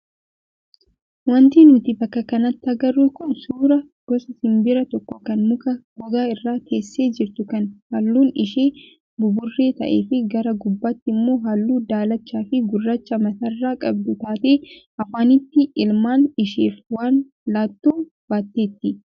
Wanti nuti bakka kanatti agarru kun suuraa gosa simbiraa tokko kan muka gogaa irra teessee jirtu kan halluun ishee buburree ta'ee fi gara gubbaatti immoo halluu daalachaa fi gurraacha mataarraa qabdu taatee afaanitti ilmaan isheef waan laattu baatteetti.